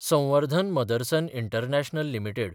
संवर्धन Motherson International limited